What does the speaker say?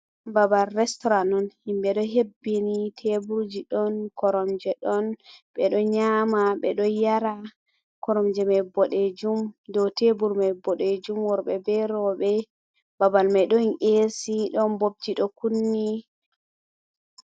Babal restoran on. himɓe ɗo hebbini, tebulji, ɗon koromje, ɗon ɓeɗo nyama, ɓeɗo yara, koromje mai boɗejum, dou tebul mai boɗejum, worɓe be roɓe, babal mai don esi, don bobji do kunni.